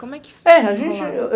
Como é que foi? É a gente...